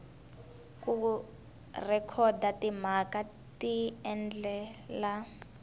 ku rhekhoda timhaka hi tindlela